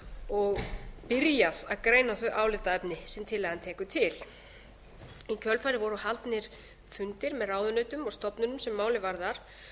og byrjað að greina þau álitaefni sem tillagan tekur til í kjölfarið voru haldnir fundir með ráðuneytum og stofnunum sem málið varðar